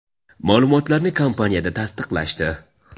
Ma’lumotni kompaniyada tasdiqlashdi.